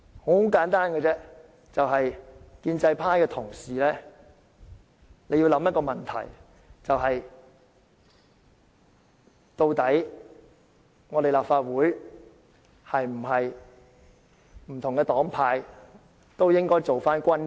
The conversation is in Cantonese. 我希望建制派的同事考慮一個問題，就是不同黨派的議員在立法會內是否均應做回君子？